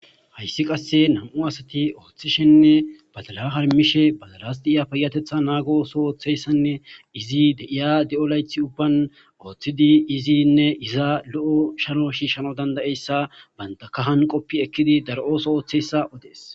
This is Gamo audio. Hayssi qasse nam7u asati ooththishenne badala harmishe badalas diiya payatetha naago ooso ooththeyssanne izi de7iya de7o laythi ubban ooththidi izinne iza lo7o sharo shiishano dandayeyssa baynta kahan qoppi ekkidi daro oso ooththiyssa odees.